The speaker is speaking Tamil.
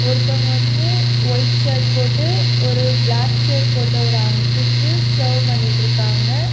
ஒருத்தவங்க வந்து ஒயிட் ஷர்ட் போட்டு ஒரு பிளாக் ஷர்ட் போட்ட ஒரு அங்கிளுக்கு சர்வ் பண்ணிட்டுருக்காங்க.